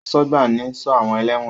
Asọ́gbà ni ń sọ́ àwọn ẹlẹ́wọ̀n